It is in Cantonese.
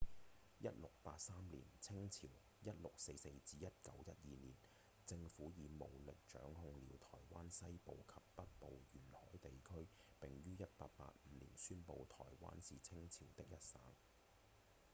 1683年清朝 1644-1912 年政府以武力掌控了臺灣西部及北部沿海地區並於1885年宣布臺灣是清朝的一省